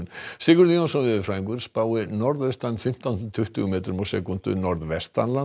Sigurður Jónsson veðurfræðingur spáir norðaustan fimmtán til tuttugu metrum á sekúndu